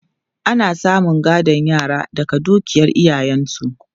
Ana samun gadon yara daga dukiyar iyayensu.